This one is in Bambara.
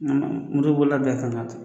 Motobolila bɛɛ kan k'a ta